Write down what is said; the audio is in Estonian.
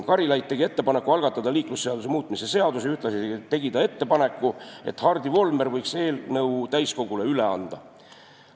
Karilaid tegi ettepaneku algatada liiklusseaduse muutmise seaduse eelnõu ja ühtlasi tegi ta ettepaneku, et Hardi Volmer võiks eelnõu täiskogule üle anda.